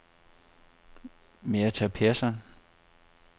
Metha Pehrson